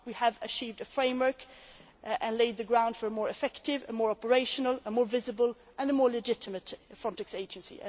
We have achieved a framework and laid the ground for a more effective, more operational, more visible and more legitimate FRONTEX Agency.